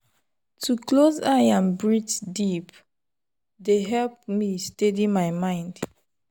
to close eye and breathe deep dey help me steady my mind.